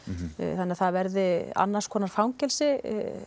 þannig að það verði annars konar fangelsi